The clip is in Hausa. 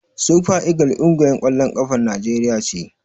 Sufa igil ƙungiyar ƙwallon ƙafar Naijeriya ce.